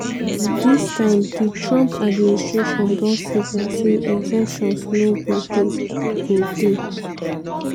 dis time di trump administration don signal say exemptions no go dey. go dey.